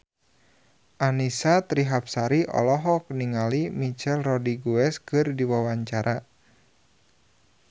Annisa Trihapsari olohok ningali Michelle Rodriguez keur diwawancara